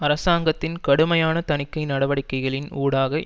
அரசாங்கத்தின் கடுமையான தணிக்கை நடவடிக்கைகளின் ஊடாக